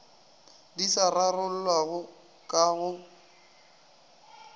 di sa rarollwago ka go